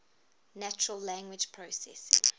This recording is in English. natural language processing